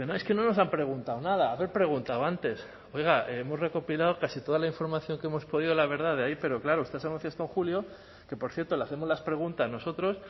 dice no es que no nos han preguntado nada haber preguntado antes oiga hemos recopilado casi toda la información que hemos podido la verdad de ahí pero claro ustedes esto en julio que por cierto le hacemos las preguntas nosotros